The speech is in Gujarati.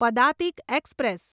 પદાતિક એક્સપ્રેસ